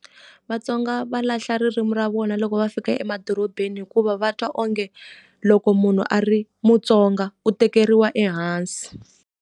VaTsonga va lahla ririmi ra vona loko va fika emadorobeni hikuva va twa onge, loko munhu a ri mutsonga u tekeriwa ehansi.